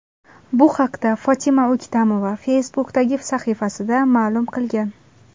Bu haqda Fotima O‘ktamova Facebook’dagi sahifasida ma’lum qilgan .